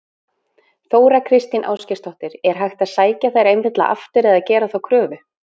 Þóra Kristín Ásgeirsdóttir: Er hægt að sækja þær einfaldlega aftur eða gera þá kröfu?